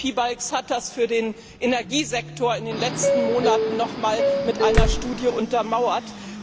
Andris Piebalgs hat das für den Energiesektor in den letzten Monaten nochmals mit einer Studie untermauert.